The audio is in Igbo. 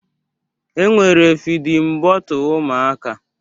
E nwere fidin bọtle ụmụaka.